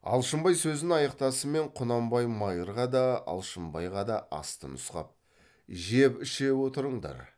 алшынбай сөзін аяқтасымен құнанбай майырға да алшынбайға да асты нұсқап жеп іше отырыңдар